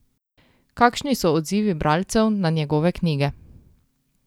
Kakšni so odzivi bralcev na njegove knjige?